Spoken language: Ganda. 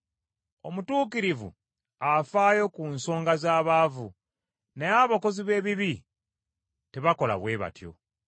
Omutuukirivu afaayo ku nsonga z’abaavu, naye abakozi b’ebibi tebakola bwe batyo.